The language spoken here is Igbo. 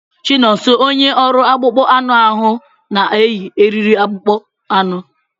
Chinonso onye ọrụ akpụkpọ anụ ahu na-eyi eriri akpụkpọ anụ.